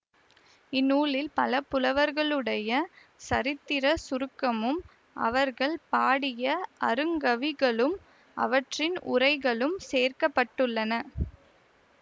இந்நூலில் பல புலவர்களுடைய சரித்திரச் சுருக்கமும் அவர்கள் பாடிய அருங்கவிகளும் அவற்றின் உரைகளும் சேர்க்க பட்டுள்ளன